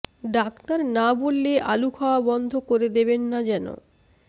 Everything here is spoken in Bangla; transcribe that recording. ডাক্তার না বললে আলু খাওয়া বন্ধ করে দেবেন না যেন